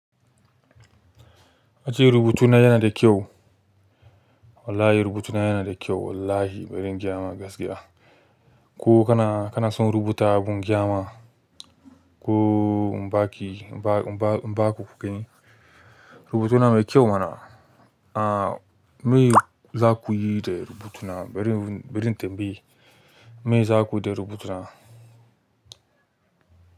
A ce rubutuna yana da kyau. Wallahi rubutuna yana da kyau wallahi bari in gaya ma gaskiya. Ko kana, kana son rubuta abun gaya ma, ko in baki, in ba ku ku gani rubutuna mai kyau mana a me za ku yi da rubutuna? Bari, bari in tambaye me za ku yi da rubutuna?